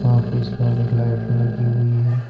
काफी सारी लाइट लगी हुई है।